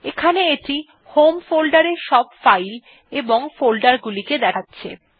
এখানে এটি home folder এর সব ফাইল এবং ফোল্ডার গুলিকে দেখাচ্ছে